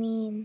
mín.